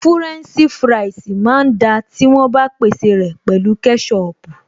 Fúrẹ́ǹṣì fúráìsì máa ń da tí wọ́n bá pèsè rẹ̀ pẹ̀lú kẹ́ṣọpù